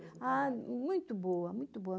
Ah, muito boa, muito boa.